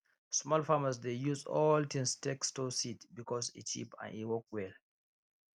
small farmers dey use old tins take store seeds because e cheap and e work well